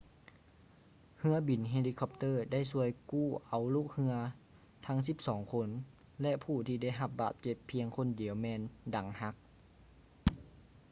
ເຮືອບິນເຮລິຄອບເຕີໄດ້ຊ່ວຍກູ້ເອົາລູກເຮືອທັງສິບສອງຄົນ ແລະ ຜູ້ທີ່ໄດ້ຮັບບາດເຈັບພຽງຄົນດຽວແມ່ນດັງຫັກ